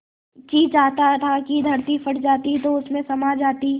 जी चाहता था कि धरती फट जाती तो उसमें समा जाती